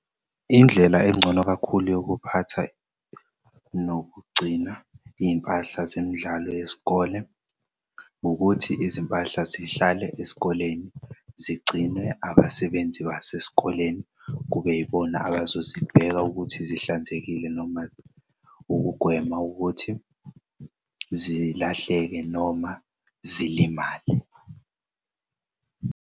Indlela engcono kakhulu yokuphatha nokugcina iy'mpahla zemidlalo yesikole ngukuthi izimpahla zihlale esikoleni zigcinwe abasebenzi basesikoleni kube yibona abazozibheka ukuthi zihlanzekile noma ukugwema ukuthi zilahleke noma zilimale.